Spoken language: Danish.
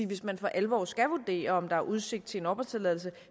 hvis man for alvor skal vurdere om der er udsigt til en opholdstilladelse